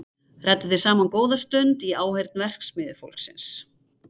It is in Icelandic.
Ræddu þeir saman góða stund í áheyrn verksmiðjufólksins.